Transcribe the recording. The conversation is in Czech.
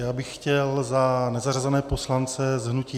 Já bych chtěl za nezařazené poslance z hnutí